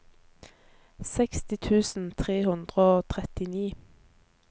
seksti tusen tre hundre og trettini